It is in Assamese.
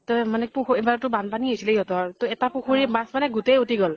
ত মানে পুখুৰী । এবাৰ তো বান্পানী হৈছিলে সিহঁতৰ । ত এটা পুখুৰী ৰ মাছ মানে গোটেই উটি গʼল ।